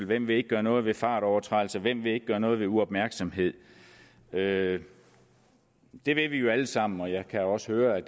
hvem vil ikke gøre noget ved fartovertrædelser hvem vil ikke gøre noget ved uopmærksomhed det vil vi jo alle sammen og jeg kan også høre at